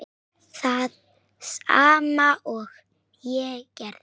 Það sama og ég gerði.